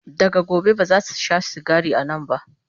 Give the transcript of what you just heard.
daga gobe bazasu Sha sigari a Nan ba